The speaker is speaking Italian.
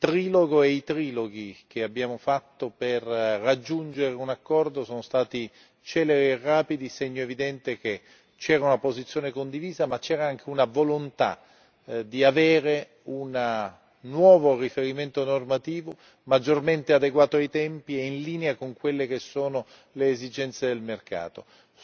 Il trilogo e i triloghi che abbiamo fatto per raggiungere un accordo sono stati celeri e rapidi, segno evidente che c'era una posizione condivisa, ma c'era anche una volontà di avere un nuovo riferimento normativo maggiormente adeguato ai tempi e in linea con quelle che sono le esigenze del mercato.